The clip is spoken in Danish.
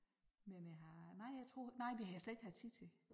Men jeg har nej jeg tror nej det har slet ikke haft tid til